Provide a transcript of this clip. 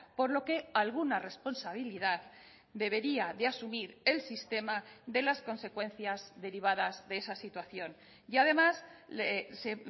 por lo que alguna responsabilidad debería de asumir el sistema de las consecuencias derivadas de esa situación y además se